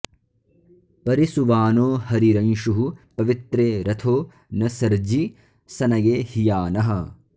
परि सुवानो हरिरंशुः पवित्रे रथो न सर्जि सनये हियानः